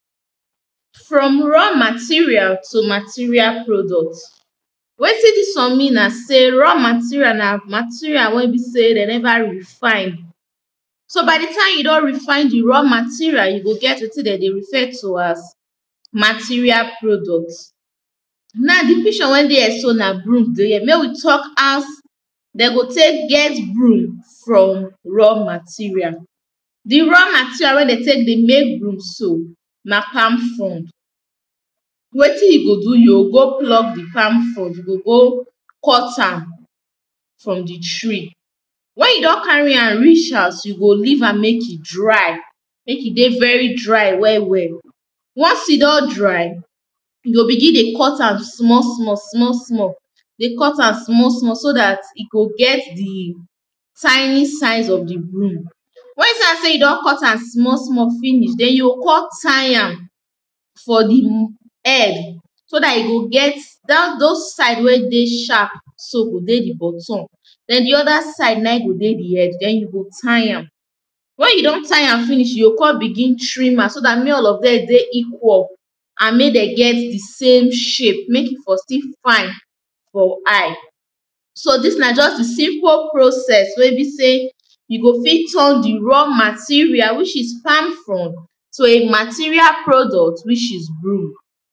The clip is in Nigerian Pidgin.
From raw material to material product wetin dis mean na sey raw material na material wey be sey dem never refine So by di time wey you don refine di raw material you go get wetin dem dey refer to as material product. Na di picture wey dey here so na broom dey here make we talk as dem go take get broom from raw material. Di raw material wey dem take dey make broom so na palm frond Wetin you go do, you go pluck di palm fond, you go cut am for di tree Wen you don carry reach house, you go leave am make e dry, make e dey very dry well well Once e don dry, you go begin dey cut am small small small small dey cut am small small, so dat e go get di tiny size of di broom. Wen you see am sey you don cut am small small finish, den you go come try am for di air, so dat you go get, those side wey dey sharp so go dey di bottom den di other side na go dey di head, then you go tie am. Wen you don tie finish, you go come begin trim am so make all of dem dey equal and dem get the same shape, make di body fine for eye so dis na just di simple process wey be sey you go fit turn di raw material which is palm frond to a material product which is broom